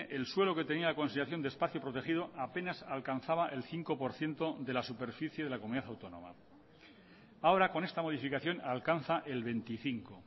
el suelo que tenía consideración de espacio protegido apenas alcanzaba el cinco por ciento de la superficie de la comunidad autónoma ahora con esta modificación alcanza el veinticinco